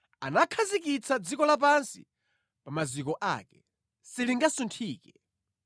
Anakhazikitsa dziko lapansi pa maziko ake; silingasunthike.